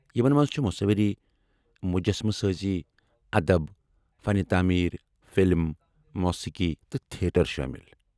یمن منٛز چھ مٗصوری ، مجسمہٕ سٲزی، ادب ، فن تعمیر ، فلم ، موسیقی تہٕ تھیٹر شٲمِل۔